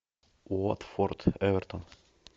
уотфорд эвертон